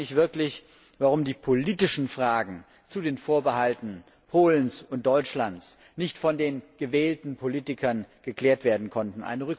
Ich frage mich wirklich, warum die politischen Fragen zu den Vorbehalten Polens und Deutschlands nicht von den gewählten Politikern geklärt werden konnten.